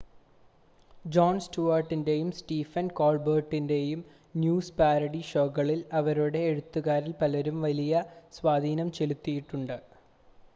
John സ്റ്റുവാർട്ടിൻ്റെയും സ്റ്റീഫൻ കോൾബെർട്ടിൻ്റെയും ന്യൂസ് പാരഡി ഷോകളിൽ അവരുടെ എഴുത്തുകാരിൽ പലരും വലിയ സ്വാധീനം ചെലുത്തിയിട്ടുണ്ട്